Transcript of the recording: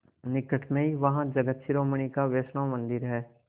निकट में ही वहाँ जगत शिरोमणि का वैष्णव मंदिर है